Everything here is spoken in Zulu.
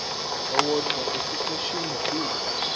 owodwa esiqeshini b